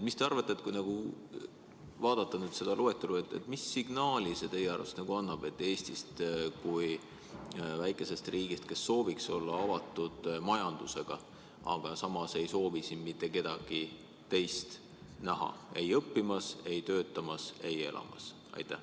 Mis te arvate, kui vaadata seda loetelu, siis mis signaali see teie arvates annab Eestist kui väikesest riigist, kes sooviks olla avatud majandusega, aga samas ei soovi siin mitte kedagi teist näha ei õppimas, töötamas ega elamas?